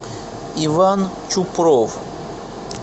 иван чупров